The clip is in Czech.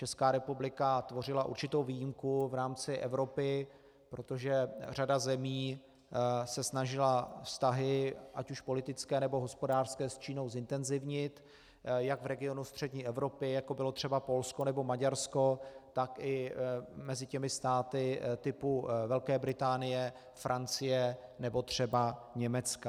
Česká republika tvořila určitou výjimku v rámci Evropy, protože řada zemí se snažila vztahy, ať už politické, nebo hospodářské, s Čínou zintenzivnit jak v regionu střední Evropy, jako bylo třeba Polsko nebo Maďarsko, tak i mezi těmi státy typu Velké Británie, Francie nebo třeba Německa.